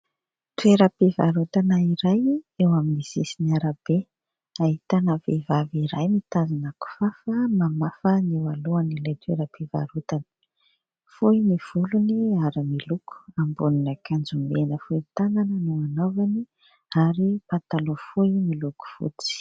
Toeram-pivarotana iray eo amin'ny sisin'ny arabe. Ahitana vehivavy iray mitazona kifafa, mamafa ny eo alohan' ilay toeram-pivarotana. Fohy ny volony ary miloko ; ambonin'akanjo mena fohy tanana no anaovany ary pataloha fohy miloko fotsy.